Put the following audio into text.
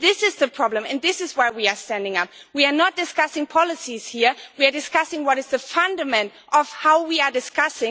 This is the problem, this is why we are standing up. We are not discussing policies here, we are discussing what the fundament is of how we discuss.